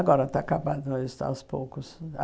Agora está acabando, está aos poucos.